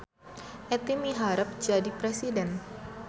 Etty miharep jadi presiden